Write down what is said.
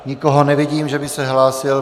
Nikoho nevidím, že by se hlásil.